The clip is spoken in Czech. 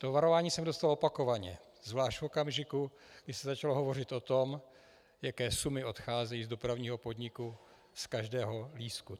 To varování jsem dostal opakovaně, zvlášť v okamžiku, kdy se začalo hovořit o tom, jaké sumy odcházejí z Dopravního podniku z každého lístku.